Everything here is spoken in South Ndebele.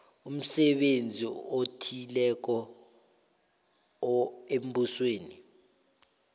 umsebenzi othileko embusweni